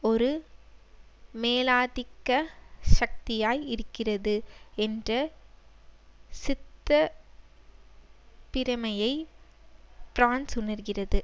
ஒரு மேலாதிக்க சக்தியாய் இருக்கிறது என்ற சித்தப்பிரைமயை பிரான்ஸ் உணர்கிறது